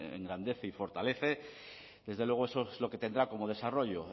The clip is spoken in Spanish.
engrandece y fortalece desde luego eso es lo que tendrá como desarrollo